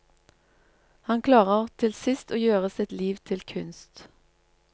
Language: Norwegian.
Han klarer til sist å gjøre sitt liv til kunst.